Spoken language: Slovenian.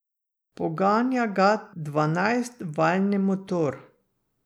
Poganja ga dvanajstvaljni motor.